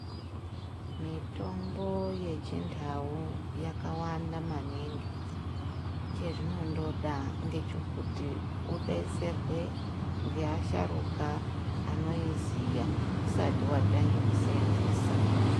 Mitombo yechindau yakawanda maningi. Chezvinondoda ngechekuti ,udetserwe ngeasharuka anoiziya, usati watange kuiseenzesa.